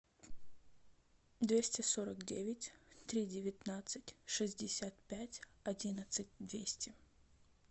двести сорок девять три девятнадцать шестьдесят пять одиннадцать двести